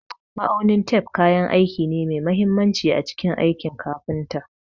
Ma'aunin tef kayan aiki ne mai mahimmanci a cikin aikin kafinta.